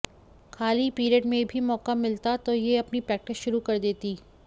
खाली पीरियड में भी मौका मिलता तो ये अपनी प्रेक्टिस शुरू कर देती